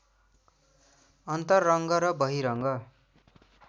अन्तरङ्ग र बहिरङ्ग